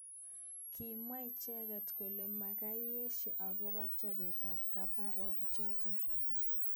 Kimwa icheket kole makoi esho akobo chobet ab komborok chotok.